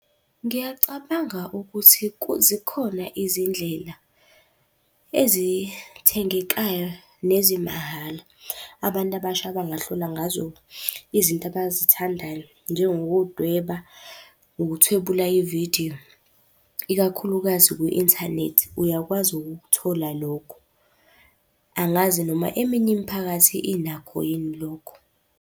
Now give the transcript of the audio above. Ngiyacabanga ukuthi zikhona izindlela ezithengekayo, nezimahhala, abantu abasha abangahlola ngazo izinto abazithandayo. Njengokudweba, ukuthwebula ividiyo, ikakhulukazi kwi-inthanethi uyakwazi ukukuthola lokho. Angazi noma eminye imiphakathi inakho yini lokho.